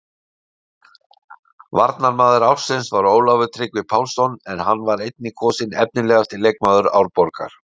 Varnarmaður ársins var Ólafur Tryggvi Pálsson en hann var einnig kosinn efnilegasti leikmaður Árborgar.